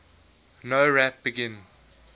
nowrap begin